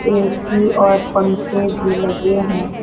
AC और पंखे भी लगे हैं।